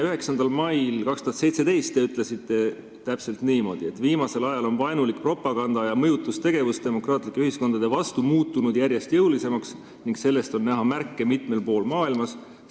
9. mail 2017 te ütlesite täpselt niimoodi: "Viimasel ajal on vaenulik propaganda ja mõjutustegevus demokraatlike ühiskondade vastu muutunud järjest jõulisemaks ning näeme sellest märke mitmel pool maailmas.